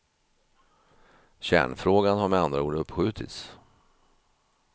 Kärnfrågan har med andra ord uppskjutits.